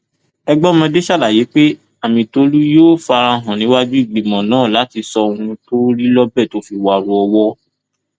ẹgbẹmọdé ṣàlàyé pé amitólú yóò fara hàn níwájú ìgbìmọ náà láti sọ ohun tó rí lọbẹ tó fi wárò owó